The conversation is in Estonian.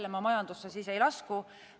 Jälle, ma majandusse ei lasku.